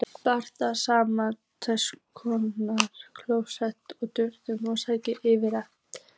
Blandið saman kókosmjölinu og döðlunum og setjið yfir eplin.